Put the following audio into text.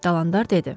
Dalandar dedi.